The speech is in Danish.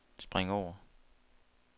spring over